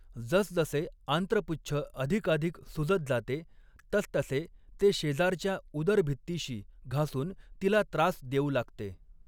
जसजसे आंत्रपुच्छ अधिकाधिक सुजत जाते, तसतसे ते शेजारच्या उदरभित्तिशी घासून तिला त्रास देऊ लागते.